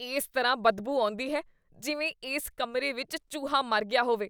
ਇਸ ਤਰ੍ਹਾਂ ਬਦਬੂ ਆਉਂਦੀ ਹੈ ਜਿਵੇਂ ਇਸ ਕਮਰੇ ਵਿੱਚ ਚੂਹਾ ਮਰ ਗਿਆ ਹੋਵੇ।